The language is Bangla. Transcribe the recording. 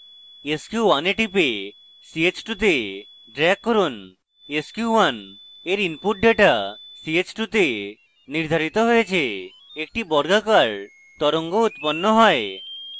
sq1 a টিপে ch2 তে drag করুন sq1 এর input ডেটা ch2 তে নির্ধারিত হয়েছে একটি বর্গাকার তরঙ্গ উৎপন্ন হয়